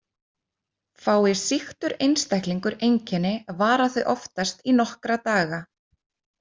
Fái sýktur einstaklingur einkenni vara þau oftast í nokkra daga.